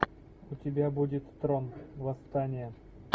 у тебя будет трон восстание